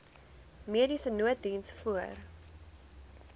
mediese nooddiens voor